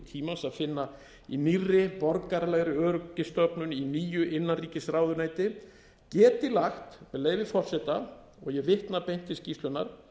fyllingu tímans að finna í nýrri borgaralegri öryggisstofnun í nýju innanríkisráðuneyti geti lagt með leyfi forseta og ég vitna beint til skýrslunnar